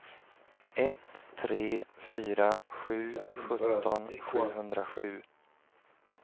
ett tre fyra sju sjutton sjuhundrasju